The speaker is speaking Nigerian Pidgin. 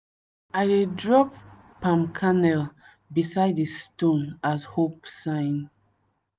i dey drop palm kernel beside di stone as hope sign.